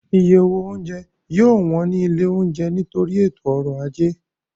Iye owó oúnjẹ yóò wọ́n ní ilé oúnjẹ nítorí ètò ọ̀rọ̀ ajé